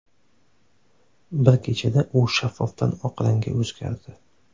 Bir kechada u shaffofdan oq rangga o‘zgardi”.